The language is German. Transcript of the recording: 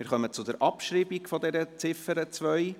Wir kommen zur Abschreibung dieser Ziffer 2.